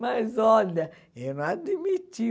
Mas olha, eu não admiti.